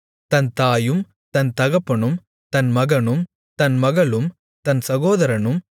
தன் தாயும் தன் தகப்பனும் தன் மகனும் தன் மகளும் தன் சகோதரனும்